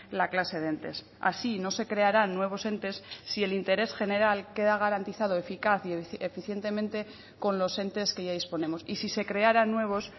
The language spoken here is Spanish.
la clase de entes así no se crearán nuevos entes si el interés general queda garantizado eficaz y eficientemente con los entes que ya disponemos y si se crearan nuevos